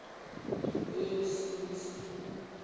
kweyomsintsi